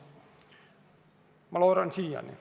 Ma loodan seda siiani.